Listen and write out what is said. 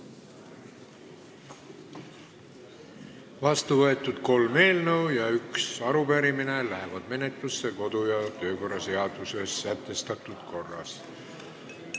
Vastuvõetud kolm eelnõu ja üks arupärimine lähevad menetlusse kodu- ja töökorra seaduses sätestatud korras.